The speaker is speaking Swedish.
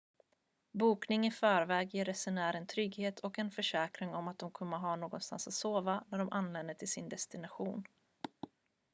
bokning i förväg ger resenären trygghet och en försäkran om att de kommer att ha någonstans att sova när de anländer till sin destination